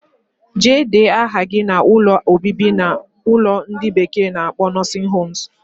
Jee dee aha gi na ụlọ obibi na ulo ndi bekee na akpo nursing homes.